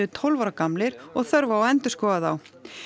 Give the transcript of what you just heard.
tólf ára gamlir og þörf á að endurskoða þá